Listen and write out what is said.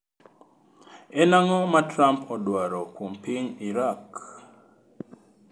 En ang’o ma Trump odwaro kuom piny Iraq?